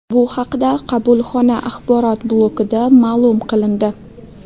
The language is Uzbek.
Bu haqda qabulxona axborot blokida ma’lum qilindi .